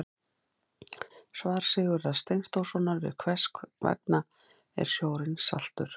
Svar Sigurðar Steinþórssonar við Hvers vegna er sjórinn saltur?